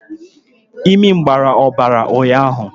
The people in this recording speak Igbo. Imi gbara ọbara echi gara aga.